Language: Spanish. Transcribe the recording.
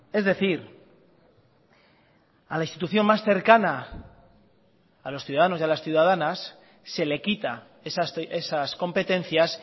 es decir a la institución más cercana a los ciudadanos y a las ciudadanas se le quita esas competencias